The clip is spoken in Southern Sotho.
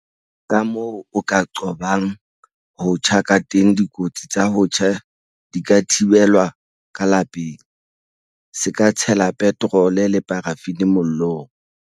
Kamoo o ka qobang ho tjha kateng Dikotsi tsa ho tjha di ka thibelwa ka lapeng. Se ka tshela petrole le parafini mollong.